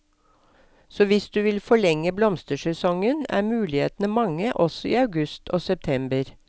Så hvis du vil forlenge blomstersesongen, er mulighetene mange også i august og september.